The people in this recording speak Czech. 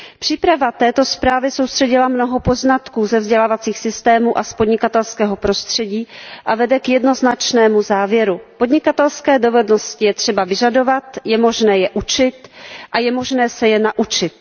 Příprava této zprávy soustředila mnoha poznatků ze vzdělávacích systémů a z podnikatelského prostředí a vede k jednoznačnému závěru Podnikatelské dovednosti je třeba vyžadovat, je možné je učit a je možné se je naučit.